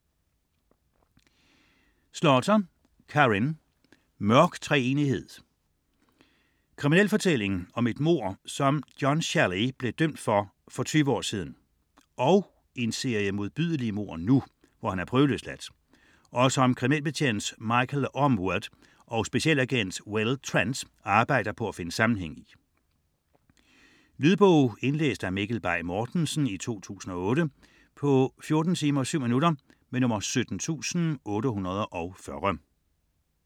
Slaughter, Karin: Mørk treenighed Krimi om et mord, som John Shelley blev dømt for for 20 år siden, og en serie modbydelige mord nu, hvor han er prøveløsladt, og som kriminalbetjent Michael Ormewood og specialagent Will Trent arbejder på at finde sammenhæng i. Lydbog 17840 Indlæst af Mikkel Bay Mortensen, 2008. Spilletid: 14 timer, 7 minutter.